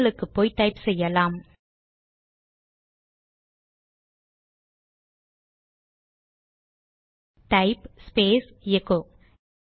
டெர்மினலுக்கு போய் டைப் செய்யலாம் டைப் ஸ்பேஸ் எகோ